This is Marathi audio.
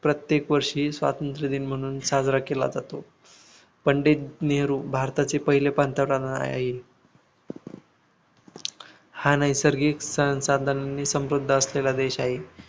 प्रत्येक वर्षी स्वतंत्र दिन म्हणून साजरा केला जातो. पंडित नेहरू भारताचे पहिले पंतप्रधान आहेत. हा नैसर्गिक संसाधनांनीं समृद्ध असलेला देश आहे.